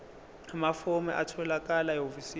amafomu atholakala ehhovisi